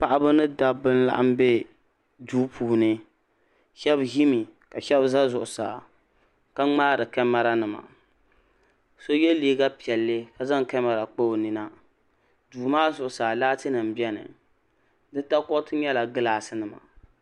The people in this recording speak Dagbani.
Paɣaba ni dabba n laɣim be duu puuni sheba ʒimi ka sheba za zuɣusaa ka ŋmaari kamara nima so ye liiga piɛlli ka zaŋ kamara kpa o nina duu maa zuɣusaa laati nima biɛni di takoriti nyɛla gilaasi nima.